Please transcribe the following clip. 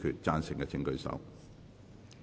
贊成的請舉手。